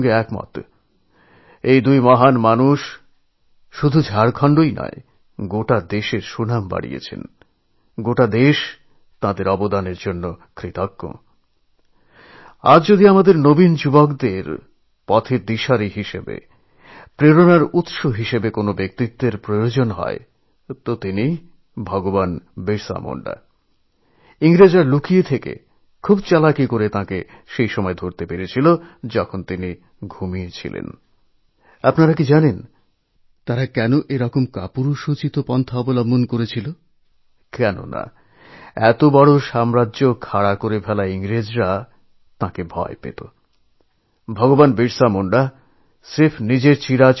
আপনারা সকলে এও জানেন যে ঐ বিশেষ দিনটি ৪ বছরে একবারই আসে